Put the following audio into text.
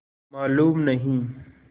मालूम नहीं